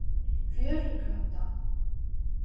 Fjörugranda